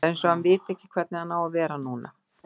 Það er eins og hann viti ekki hvernig hann á að vera núna.